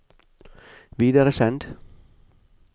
videresend